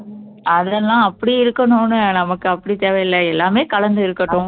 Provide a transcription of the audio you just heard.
அதெல்லாம் அப்படி இருக்கணும்ன்னு நமக்கு அப்படி தேவையில்லை எல்லாமே கலந்து இருக்கட்டும்